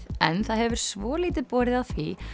en það hefur svolítið borið á því